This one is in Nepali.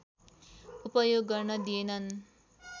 उपयोग गर्न दिएनन्